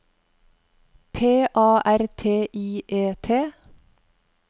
P A R T I E T